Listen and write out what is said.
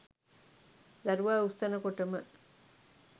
දරුවා උස්සන කොටම